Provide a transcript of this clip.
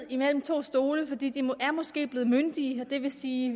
mellem to stole de de er måske blevet myndige og det vil sige